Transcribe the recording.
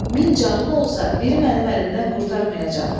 Min canın olsa, biri mənim əlimdən qurtarmayacaq.